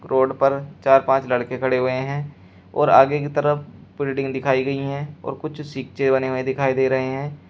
Road पर चार पांच लड़के खड़े हुए हैं और आगे की तरफ बिल्डिंग दिखाई गई है और कुछ सिक्चे बने हुए दिखाई दे रहे हैं।